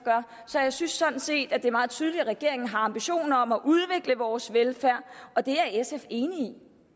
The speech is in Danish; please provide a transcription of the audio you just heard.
så jeg synes sådan set at det er meget tydeligt at regeringen har ambitioner om at udvikle vores velfærd og det er sf enig i